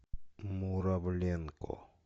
муравленко